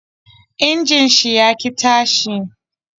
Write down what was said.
Injin shi ya ki tashi